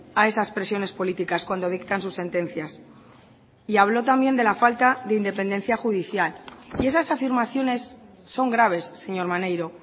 a esas presiones políticas cuando dictan sus sentencias y habló también de la falta de independencia judicial y esas afirmaciones son graves señor maneiro